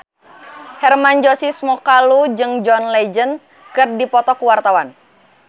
Hermann Josis Mokalu jeung John Legend keur dipoto ku wartawan